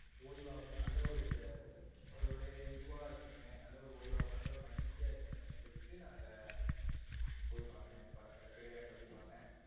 ஓய்வாவும், நல்ல ஒரு ஒரு இதுவா இருக்கணுமே நல்ல ஒரு ஓய்வாவும், நல்லா ஒரு மகிழ்ச்சியா இருக்கணுமே சொல்லிட்டு நான் இத போய் பார்த்தன் இந்த படத்த. திரை அரங்குல போய் பார்த்தன்.